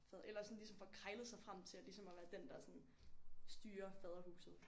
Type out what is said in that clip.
Fad eller sådan ligesom får krejlet sig frem til at ligesom at være den der sådan styrer Faderhuset